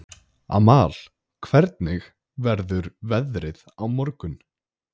Amal, hvernig verður veðrið á morgun?